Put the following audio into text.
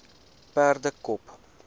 perdekop